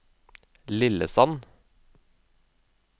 Lillesand